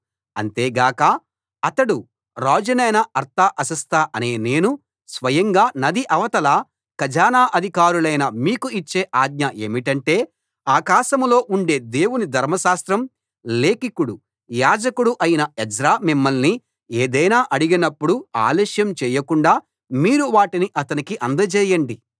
అంతే గాక అతడు రాజునైన అర్తహషస్త అనే నేను స్వయంగా నది అవతల ఖజానా అధికారులైన మీకు ఇచ్చే ఆజ్ఞ ఏమిటంటే ఆకాశంలో ఉండే దేవుని ధర్మశాస్త్రం లేఖికుడు యాజకుడు అయిన ఎజ్రా మిమ్మల్ని ఏదైనా అడిగినప్పుడు ఆలస్యం చేయకుండా మీరు వాటిని అతనికి అందజేయండి